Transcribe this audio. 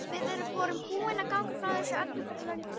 Við vorum búin að ganga frá öllu fyrir löngu.